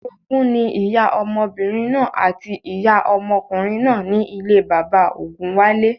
Orogún ní ìyá ọmọbìnrin náà àti ìyá ọmọkùnrin náà ní ilé bàbá ògúnwálé